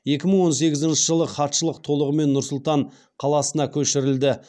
екі мың он сегізінші жылы хатшылық толығымен нұр сұлтан қаласына көшірілді